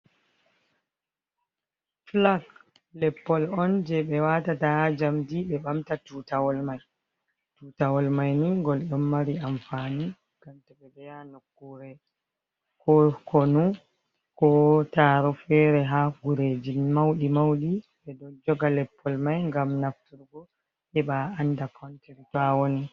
Flag leppol on je ɓe wata daha jamdi ɓe ɓamta tutawol ,mai tutawol mai ni gol ɗon mari amfani gamta ɓe ɓeya nokure k konu ko taro fere ha gurejin mauɗi mauɗi ɓe dol joga leppol mai gam nafturgo heba anda konter tawoni.